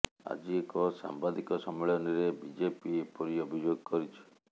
ଆଜି ଏକ ସାମ୍ବାଦିକ ସମ୍ମିଳନୀରେ ବିଜେପି ଏପରି ଅଭିଯୋଗ କରିଛି